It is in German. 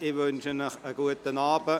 Ich wünsche Ihnen einen guten Abend.